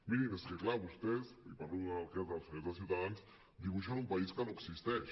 mirin és que clar vostès i parlo en el cas dels senyors de ciutadans dibuixen un país que no existeix